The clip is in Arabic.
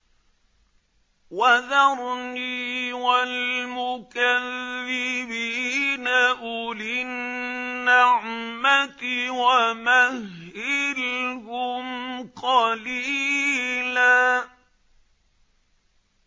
وَذَرْنِي وَالْمُكَذِّبِينَ أُولِي النَّعْمَةِ وَمَهِّلْهُمْ قَلِيلًا